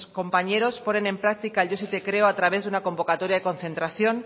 compañeros ponen en práctica el yo sí te creo a través de una convocatoria de concentración